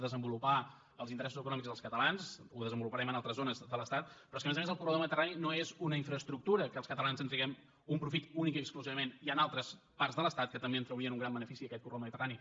desenvolupar els interessos econòmics dels catalans ho desenvoluparem en altres zones de l’estat però és que a més a més el corredor del mediterrani no és una infraestructura que els catalans en traguem un profit únicament i exclusivament hi han altres parts de l’estat que també en traurien un gran benefici d’aquest corredor del mediterrani